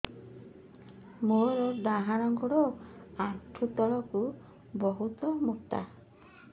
ମୋର ଡାହାଣ ଗୋଡ ଆଣ୍ଠୁ ତଳୁକୁ ବହୁତ ମୋଟା